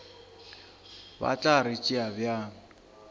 ba tla re tšea bjang